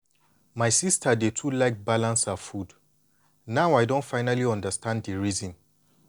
my sister dey too like balance her food now i don finally understand di reason.